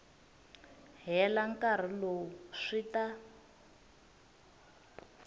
hela nkarhi lowu swi ta